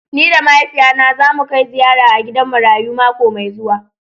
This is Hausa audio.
Ni da mahaifiya na za mu Kai ziyara a gidan marayu mako Mai zuwa.